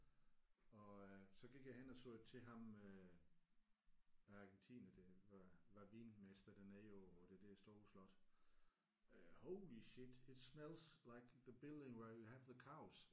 Og øh så gik jeg hen og sagde til ham øh argentineren der var var vinmester dernede på på det der store slot øh holy shit it smells like the building where you have the cows